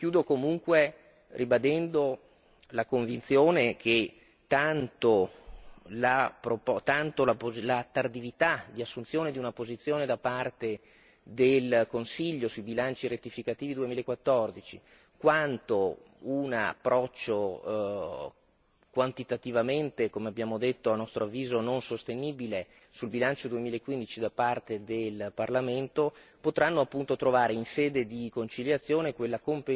Chiudo comunque ribadendo la convinzione che tanto la tardività di assunzione di una posizione da parte del Consiglio sui bilanci rettificativi 2014 quanto un approccio quantitativamente come abbiamo detto a nostro avviso non sostenibile sul bilancio 2015 da parte del Parlamento potranno appunto trovare in sede di conciliazione quella